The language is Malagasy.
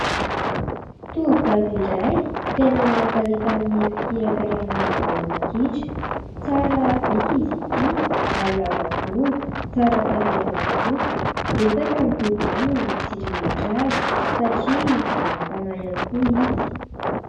Tovovavy iray tena manan-talenta amin'ny fikirakirana baolina kitra, tsara bika izy ity ary lava volo, tsara tarehy ihany koa. Betsaka ny tovolahy no mitsiriritra azy, satria manam-panahy ihany koa izy.